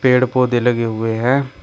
पेड़ पौधे लगे हुए हैं।